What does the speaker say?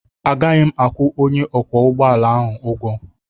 Agaghị m akwụ onye ọkwọ ụgbọ ala ụgwọ